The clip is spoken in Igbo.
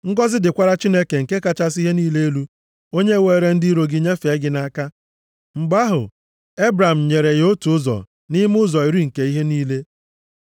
Ngọzị dịkwara Chineke nke kachasị ihe niile elu, onye weere ndị iro gị nyefee gị nʼaka.” Mgbe ahụ, Ebram nyere ya otu ụzọ nʼime ụzọ iri nke ihe niile.